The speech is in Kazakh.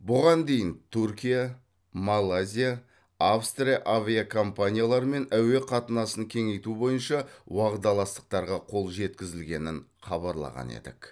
бұған дейін түркия малайзия австрия авиакомпанияларымен әуе қатынасын кеңейту бойынша уағдаластықтарға қол жеткізілгенін хабарлаған едік